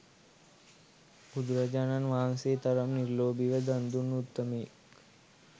බුදුරජාණන් වහන්සේ තරම් නිර්ලෝභීව දන් දුන් උත්තමයෙක්